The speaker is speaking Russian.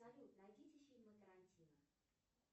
салют найдите фильмы тарантино